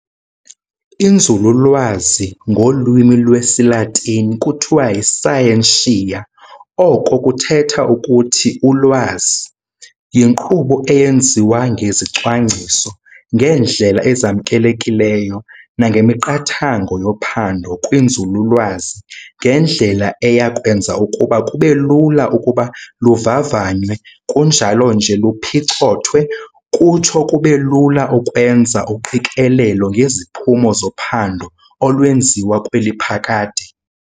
Inzululwazi, Ngolwimi lwesiLatini kuthiwa yi"scientia", oko kuthetha ukuthi "Ulwazi", yinkqubo eyenziwa ngezicwangciso, ngeendlela ezamkelekileyo nangemiqathango yophando kwinzululwazi ngendlela eya kwenza ukuba kubelula ukuba luvavanywe kunjalo nje luphicothwe, kutsho kubelula ukwenza uqikelelo ngeziphumo zophando olwenziwa kweli phakade.